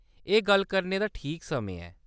एह् गल्ल करने दा ठीक समें ऐ।